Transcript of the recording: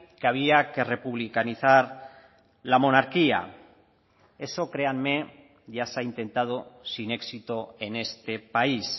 que había que republicanizar la monarquía eso créanme ya se ha intentado sin éxito en este país